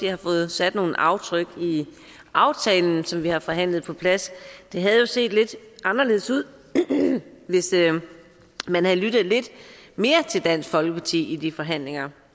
har fået sat nogle aftryk i aftalen som vi har forhandlet på plads det havde jo set lidt anderledes ud hvis man havde lyttet lidt mere til dansk folkeparti i de forhandlinger